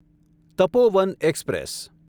Tapovan express